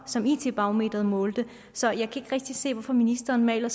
som it barometeret målte så jeg kan rigtig se hvorfor ministeren maler